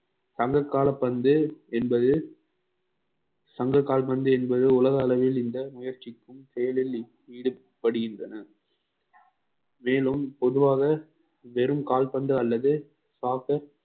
சங்ககால பந்து என்பது சங்க கால்பந்து என்பது உலக அளவில் இந்த முயற்சிக்கும் செயலில் ஈடுபடுகின்றன மேலும் பொதுவாக வெறும் கால்பந்து அல்லது